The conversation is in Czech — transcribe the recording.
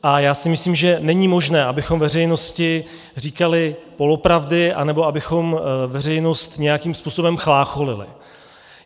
A já si myslím, že není možné, abychom veřejnosti říkali polopravdy nebo abychom veřejnost nějakým způsobem chlácholili.